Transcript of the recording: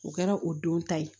O kɛra o don ta ye